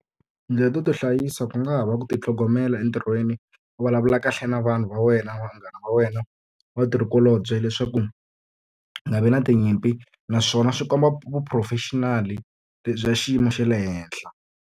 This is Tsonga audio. Tindlela to tihlayisa ku nga ha va ku titlhogomela entirhweni, u vulavula kahle na vanhu va wena, vanghana va wena, vatirhikulobye, leswaku ku nga vi na tinyimpi. Naswona swi komba vu-professional-i lebyi bya xiyimo xa le henhla.